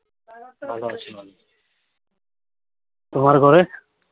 ভালো আছে। তোমার ঘরে?